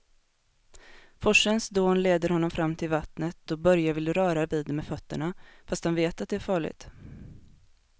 Forsens dån leder honom fram till vattnet och Börje vill röra vid det med fötterna, fast han vet att det är farligt.